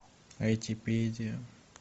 айтипедия